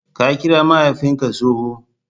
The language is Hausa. Ka kira mahaifinka tsohon!